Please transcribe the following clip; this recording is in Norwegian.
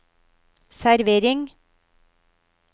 servering